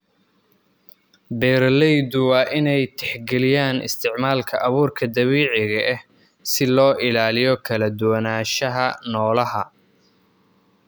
Beeraleydu waa inay tixgeliyaan isticmaalka abuurka dabiiciga ah si loo ilaaliyo kala duwanaanshaha noolaha.